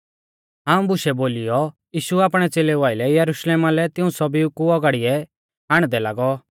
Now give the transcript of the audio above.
इऊं बुशै बोलीयौ यीशु आपणै च़ेलेऊ आइलै यरुशलेम लै तिऊं सौभीऊ कु औगाड़िऐ आण्डदै लागौ